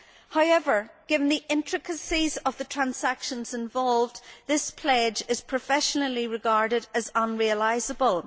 However, given the intricacies of the transactions involved, this pledge is professionally regarded as unrealisable.